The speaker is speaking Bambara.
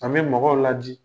An' be mɔgɔw ladi.